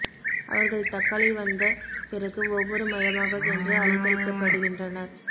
அவர்கள் தக்கலை வந்த பிறகு ஒவ்வொரு மையமாக சென்று அலைக்கழிக்கப்படுகின்றனர்